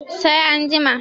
sai an jima